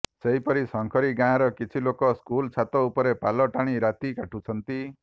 ସେହିପରି ଶଙ୍କାରୀ ଗାଁର କିଛି ଲୋକ ସ୍କୁଲ ଛାତ ଉପରେ ପାଲ ଟାଣି ରାତି କାଟୁଛନ୍ତି